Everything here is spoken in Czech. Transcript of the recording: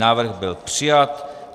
Návrh byl přijat.